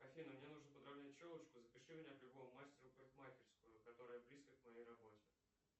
афина мне нужно подравнять челочку запиши меня к любому мастеру в парикмахерскую которая близко к моей работе